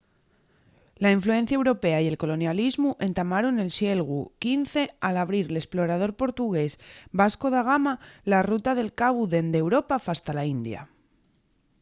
la influencia europea y el colonialismu entamaron nel sieglu xv al abrir l’esplorador portugués vasco da gama la ruta del cabu dende europa fasta la india